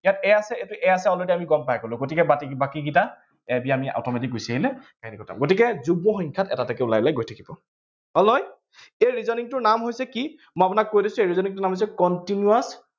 ইয়াত a আছে, এইটো a আছে already আমি গম পাই গলো, গতিকে বাকী, বাকীকিটা a b আমি automatic গুছি আহিলে, সেইটো কথা। গতিকে যুগ্ম সংখ্যাত এটা এটাকৈ ওলাই ওলাই গৈ থাকিব। হল নহয়? এই reasoning নাম হৈছে, কি? মই আপোনাক কৈ দিছো, এই reasoning টোৰ নাম হৈছে, continous